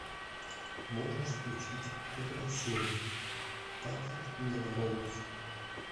можешь включить первая серия патрик мелроуз